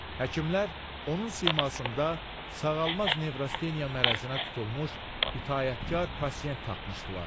Həkimlər onun simasında sağalmaz nevrostenya mərəzinə tutulmuş itaətkar pasient tapmışdılar.